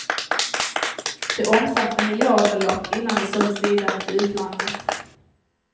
Det omsatte miljardbelopp innan det såldes vidare till utlandet.